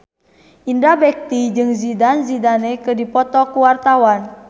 Indra Bekti jeung Zidane Zidane keur dipoto ku wartawan